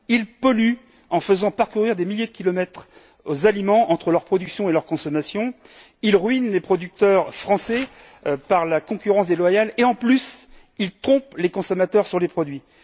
Ils polluent en faisant parcourir des milliers de kilomètres aux aliments entre leur production et leur consommation, ruinent les producteurs français par la concurrence déloyale et en plus, trompent les consommateurs sur les produits.